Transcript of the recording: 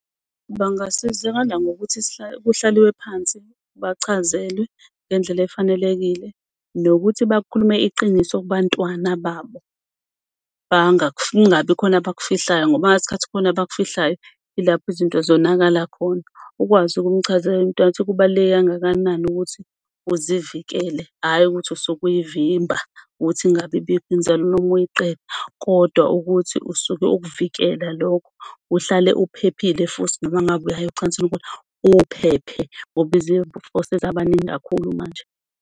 Bangasizakala ngokuthi kuhlaliwe phansi, bachazelwe ngendlela efanelekile nokuthi bakhulume iqiniso kubantwana babo kungabi khona abakufihlayo ngoba ngeskhathi kukhona abakufihlayo ilapho izinto zonakala khona. Ukwazi ukumchazela umntwana ukuthi kubaluleke kangakanani ukuthi uzivikele, ayi ukuthi usuke uy'vimba ukuthi ingabi bikho inzalo noma uyiqeda kodwa ukuthi usuke ukuvikela lokho. Uhlale uphephile futhi noma ngabe uyaya ocansini kodwa ukuthi uphephe ngoba izifo sezabaningi kakhulu manje.